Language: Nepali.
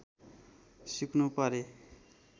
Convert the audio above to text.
सिक्नु परे